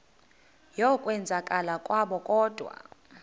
yokwenzakala kwabo kodwa